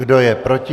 Kdo je proti?